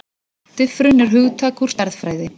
Diffrun er hugtak úr stærðfræði.